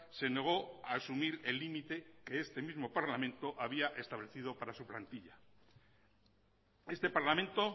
se negó a asumir el límite que este mismo parlamento había establecido para su plantilla este parlamento